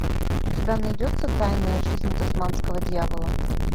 у тебя найдется тайная жизнь тасманского дьявола